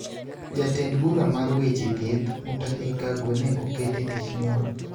Jatend bura mar weche thieth Mutahi Kagwe ne okete tich nyoro